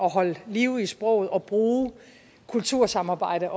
at holde liv i sproget og bruge kultursamarbejde